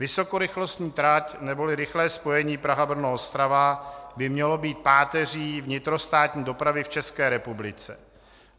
Vysokorychlostní trať neboli rychlé spojení Praha-Brno-Ostrava by mělo být páteří vnitrostátní dopravy v České republice.